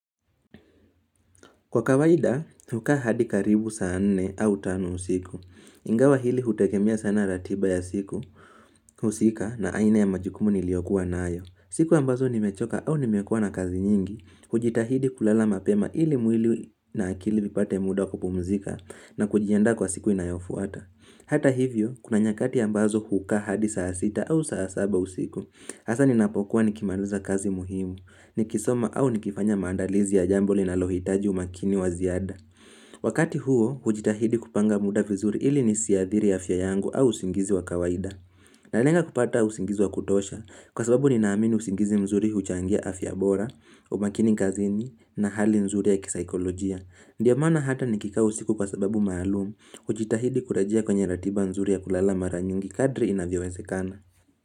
Kwa kawaida, hukaa hadi karibu saa nne au tano usiku. Ingawa hili hutegemea sana ratiba ya siku, husika na aina ya majukumu niliyokuwa na nayo. Siku ambazo nimechoka au nimekua na kazi nyingi, hujitahidi kulala mapema ili mwili na akili vipate muda kupumzika na kujianda kwa siku inayofuata. Hata hivyo, kuna nyakati ambazo hukaa hadi saa sita au saa saba usiku. Hasa ninapokuwa nikimaliza kazi muhimu, nikisoma au nikifanya maandalizi ya jambo liinalohitaji umakini wa ziada. Wakati huo, hujitahidi kupanga muda vizuri ili nisiadhiri afya yangu au usingizi wa kawaida. Nanenga kupata usingizi wa kutosha, kwa sababu ninaamini usingizi mzuri huchangia afya bora, umakini kazini, na hali nzuri ya kisaikolojia. Ndio maana hata nikikaa usiku kwa sababu maalumu, hujitahidi kurejea kwenye ratiba nzuri ya kulala mara nyingi kadri inavyowezekana.